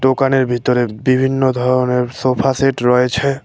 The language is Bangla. দোকানের ভিতরে বিভিন্ন ধরনের সোফা সেট রয়েছে।